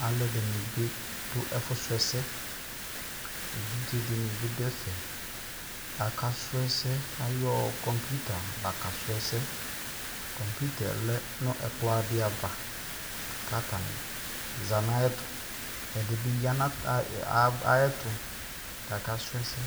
alʋɛdini bidʋ ɛƒʋ srɔ ɛsɛ, ɛvidzɛ dini bidʋ ɛƒɛ aka srɔ ɛsɛ ayɔ computer la ka srɔ ɛsɛ, computerɛ lɛnʋ ɛkplɔ di aɣa kʋ atani zanʋ ayɛtʋ, ɛdi bi yanʋ aya ayɛ ɛtʋ kʋ aka srɔ ɛsɛ.